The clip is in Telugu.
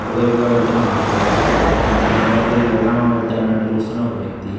అటువైపుగా వెళ్తున్న ఓ ఆటో ఆ దాని లోపలికి వెళ్దామా వద్దా అన్నట్టు చూస్తున్నా ఒక వ్యక్తి